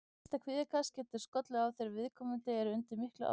Fyrsta kvíðakast getur skollið á þegar viðkomandi er undir miklu álagi.